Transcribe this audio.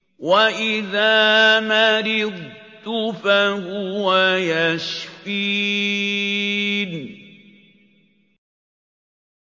وَإِذَا مَرِضْتُ فَهُوَ يَشْفِينِ